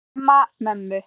Nema mömmu.